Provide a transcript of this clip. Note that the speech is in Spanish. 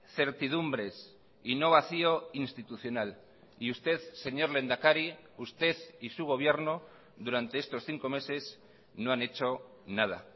certidumbres y no vacío institucional y usted señor lehendakari usted y su gobierno durante estos cinco meses no han hecho nada